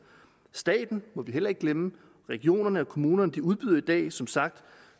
staten må vi heller ikke glemme regionerne og kommunerne udbyder i dag som sagt